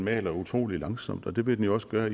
maler utrolig langsomt og det vil den også gøre